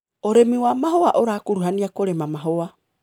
ũrĩmi wa mahũa ũrakuruhania kũrĩma mahũa.